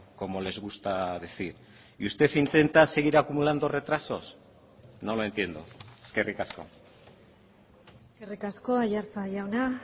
como les gusta decir y usted intenta seguir acumulando retrasos no lo entiendo eskerrik asko eskerrik asko aiartza jauna